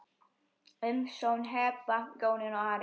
Umsjón Heba, Jónína og Ari.